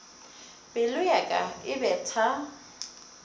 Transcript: pelo ya ka e betha